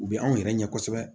U bɛ anw yɛrɛ ɲɛ kosɛbɛ